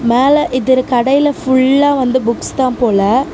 மேல இது ஒரு கடையில ஃபுல்லா வந்து புக்ஸ் தான் போல.